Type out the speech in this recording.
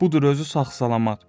Budur özü sağ-salamat.